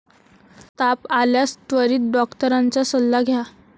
ताप आल्यास त्वरित डॉक्टरांचा सल्ला घ्या.